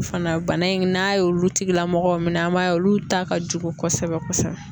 Fana bana in n'a ye olu tigilamɔgɔw minɛ an b'a ye olu ta ka jugu kosɛbɛ kosɛbɛ